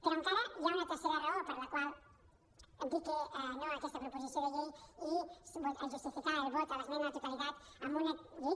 però encara hi ha una tercera raó per la qual dir que no a aquesta proposició de llei i justificar el vot a l’esmena a la totalitat a una llei que